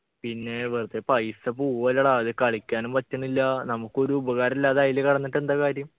പിന്നെ വെറുതെ പൈസ പോവല്ലടാ അത് കളിക്കാനും പറ്റുന്നില്ല നമുക്കൊരു ഉപകാരല്ലാതെ അയില് കെടന്നിട്ടെന്താ കാര്യം